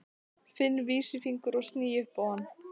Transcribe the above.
Finn vísifingur og sný upp á hann.